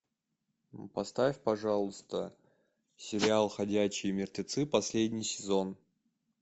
поставь пожалуйста сериал ходячие мертвецы последний сезон